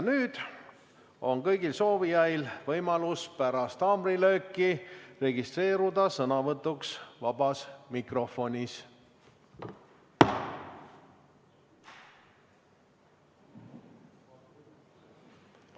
Nüüd on kõigil soovijail võimalus pärast haamrilööki registreeruda sõnavõtuks vabas mikrofonis.